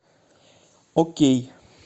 окей